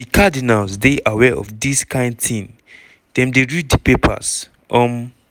"di cardinals dey aware of dis kain tin dem dey read di papers. um